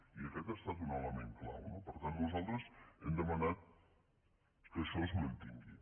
i aquest ha estat un element clau no per tant nosaltres hem demanat que això es mantingui